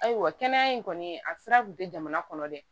Ayiwa kɛnɛya in kɔni a sira kun tɛ jamana kɔnɔ dɛ